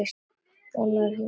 Vonar að hún fari.